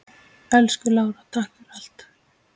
Elsku Lára, takk fyrir allt.